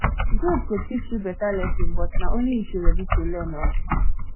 guilt go teach you better lesson but na only if you ready learn um